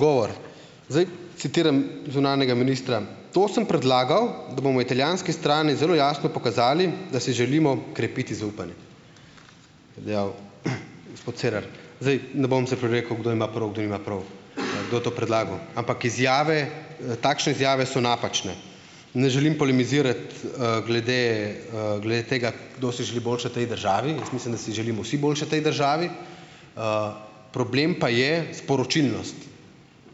Hvala za odgovor. Zdaj citiram zunanjega ministra: "To sem predlagal, da bomo italijanski strani zelo jasno pokazali, da si želimo krepiti zaupanje." Je dejal gospod Cerar. Zdaj, ne bom se prerekal, kdo ima prav, kdo nima prav ali kdo je to predlagal, ampak izjave, takšne izjave so napačne. Ne želim polemizirati, glede, glede tega, kdo si želi boljše tej državi, jaz mislim, da si želimo vsi boljše tej državi, problem pa je sporočilnost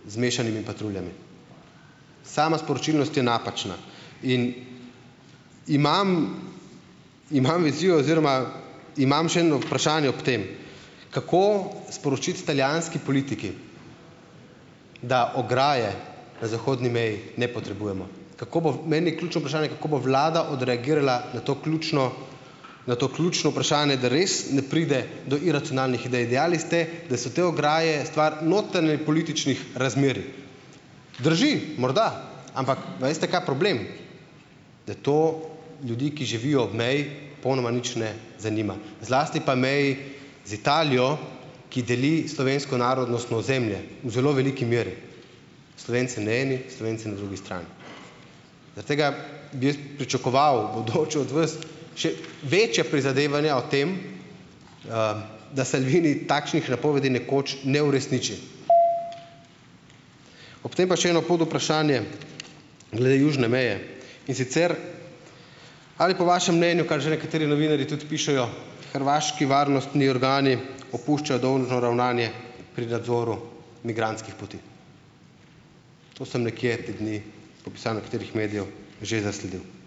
z mešanimi patruljami. Sama sporočilnost je napačna. In. Imam. Imam vizijo oziroma imam še eno vprašanje ob tem, kako sporočiti italijanski politiki, da ograje na zahodni meji ne potrebujemo. Kako bo, meni je ključno vprašanje, kako bo vlada odreagirala na to ključno, na to ključno vprašanje, da res ne pride do iracionalnih idej. Dejali ste, da so te ograje stvar notranjepolitičnih razmerij. Drži, morda, ampak a veste, kaj problem, da to ljudi, ki živijo ob meji, popolnoma nič ne zanima. Zlasti pa meji z Italijo, ki deli slovensko narodnostno ozemlje v zelo veliki meri. Slovenci na eni, Slovenci na drugi strani, zaradi tega bi jaz pričakoval bodoče od vas še večja prizadevanja o tem, da Salvini takšnih napovedi nekoč ne uresniči. Ob tem še eno podvprašanje glede južne meje. In sicer, ali po vašem mnenju, kar že nekateri novinarji tudi pišejo, hrvaški varnostni organi opuščajo dolžno ravnanje pri nadzoru migrantskih poti? To sem nekje te dni že zasledil.